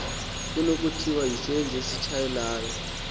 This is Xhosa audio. kunokuthiwa sisenzi esitshayelelayo